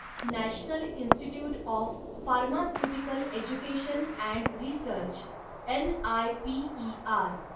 national Institute of Pharmaceutical Education and Research, NIPER